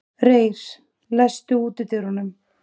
Reyr, læstu útidyrunum.